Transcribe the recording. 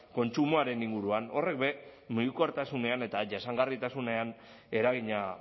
kontsumoaren inguruan horrek be mugikortasunean eta jasangarritasunean eragina